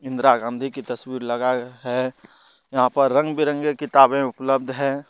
इंदिरा गांधी की तस्वीर लगा ए है यहां पर रंग बिरंगे किताबें उपलब्ध है।